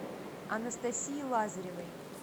анастасии лазаревой